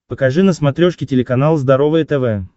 покажи на смотрешке телеканал здоровое тв